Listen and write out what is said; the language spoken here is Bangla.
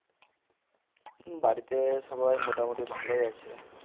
বাড়িতে সবাই মোটামুটি ভালোই আছে